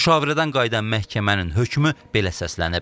Müşavirədən qayıdan məhkəmənin hökmü belə səslənib.